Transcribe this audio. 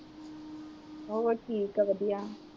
ਹੋਰ ਠੀਕ ਏ ਵਧੀਆ